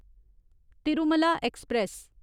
Tirumala express